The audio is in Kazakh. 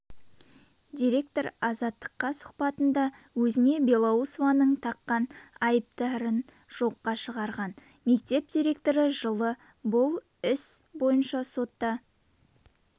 директор азаттыққа сұхбатында өзіне белоусованың таққан айыптарын жоққа шығарған мектеп директоры жылы бұл іс бойынша сотта